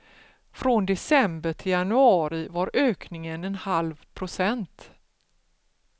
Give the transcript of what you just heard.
Från december till januari var ökningen en halv procent.